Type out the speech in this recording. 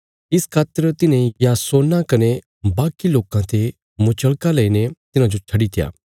इस खातर तिन्हें यासोना कने बाकी लोकां ते मुचलका लईने तिन्हांजो छड्डीत्या